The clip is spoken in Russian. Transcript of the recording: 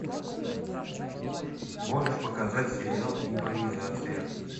можешь показать сериал импровизация